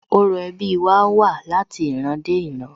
Orò ẹbí wa wá láti ìran dé ìran